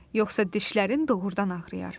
Yoxsa dişlərin doğurdan ağrıyar.